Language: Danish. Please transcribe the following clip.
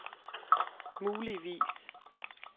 muligvis